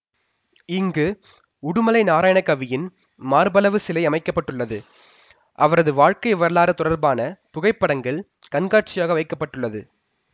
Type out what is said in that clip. இங்கு உடுமலை நாராயணகவியின் மார்பளவு சிலை அமைக்க பட்டுள்ளது அவரது வாழ்க்கை வரலாறு தொடர்பான புகைப்படங்கள் கண்காட்சியாக வைக்க பட்டுள்ளது